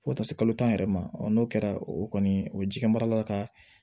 Fo ka taa se kalo tan yɛrɛ ma n'o kɛra o kɔni o ji kɛ mara la ka